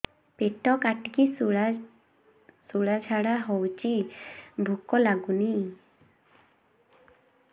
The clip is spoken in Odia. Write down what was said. ପେଟ କାଟିକି ଶୂଳା ଝାଡ଼ା ହଉଚି ଭୁକ ଲାଗୁନି